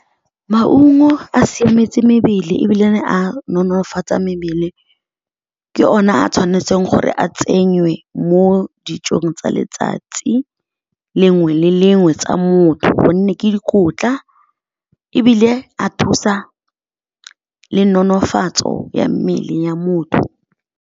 Maungo a siametse mebele ebile a nonofatsa mebele. Ke o ne a tshwanetseng gore a tsenywe mo dijong tsa letsatsi lengwe le lengwe tsa motho gonne ke dikotla ebile a thusa le nonofatso ya mmele ya motho.